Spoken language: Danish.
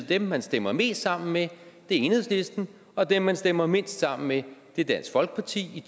dem man stemmer mest sammen med er enhedslisten og dem man stemmer mindst sammen med er dansk folkeparti i